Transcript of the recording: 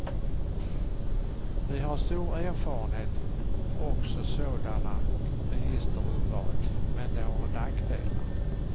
Vi har stor erfarenhet också sådana registerurval, men de har nackdelar.